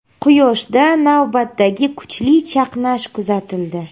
Quyoshda navbatdagi kuchli chaqnash kuzatildi.